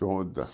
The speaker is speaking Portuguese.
Toda.